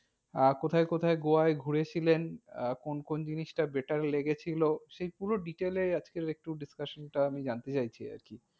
আহ কোথায় কোথায় গোয়ায় ঘুরেছিলেন? আহ কোন কোন জিনিসটা better লেগেছিল? সেই পুরো detail এ আজকে একটু discussion টা আমি জানতে চাইছি আরকি।